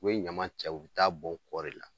U bɛ ɲama cɛ u ta'a bɔn kɔda de la